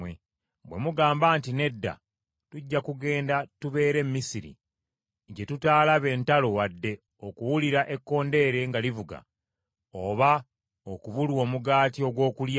Bwe mugamba nti, ‘Nedda, tujja kugenda tubeere e Misiri, gye tutaalabe ntalo wadde okuwulira ekkondeere nga livuga oba okubulwa omugaati ogw’okulya,’